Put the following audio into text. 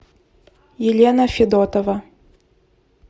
елена федотова